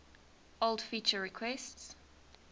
old feature requests